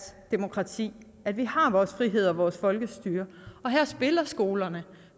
demokrati at vi har vores frihed og vores folkestyre og her spiller skolerne